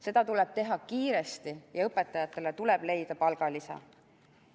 Seda tuleb teha kiiresti ja õpetajatele tuleb leida palgalisa.